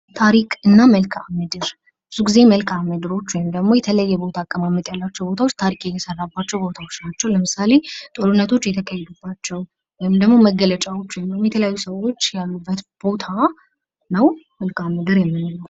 ታሪክ እና መልከአ ምድር ፦ ብዙ ጊዜ መልከአ ምድሮች ወይም ደግሞ የተለየ ቦታ አቀማመጥ ያላቸው ቦታዎች ታሪክ የሚሰራባቸው ቦታዎች ናቸው ። ለምሳሌ ጦርነቶች የተካሄዱባቸው ወይም ደግሞ መገለጫዎች የተለያዩ ሰዎች ያሉበት ቦታ ነው መልከአ ምድር የምንለው ።